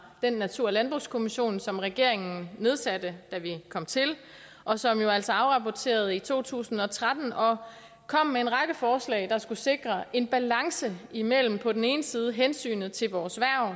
natur og landbrugskommissionen som regeringen nedsatte da vi kom til og som jo altså afrapporterede i to tusind og tretten og kom med en række forslag der skulle sikre en balance imellem på den ene side hensynet til vores